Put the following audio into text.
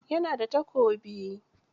Ya na da takobi?